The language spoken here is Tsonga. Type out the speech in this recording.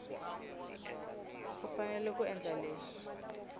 u fanele ku endla leswi